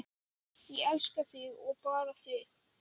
Ég elska þig og bara þig.